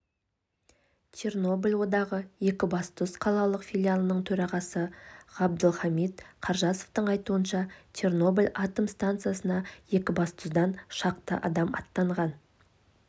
чернобыль одағы екібастұз қалалық филиалының төрағасы ғабдылхамит қаржасовтың айтуынша чернобыль атом стансасына екібастұздан шақты адам аттанған